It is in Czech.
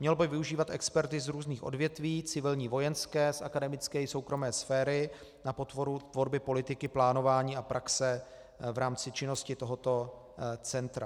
Mělo by využívat experty z různých odvětví, civilní, vojenské, z akademické i soukromé sféry na podporu tvorby politiky plánování a praxe v rámci činnosti tohoto centra.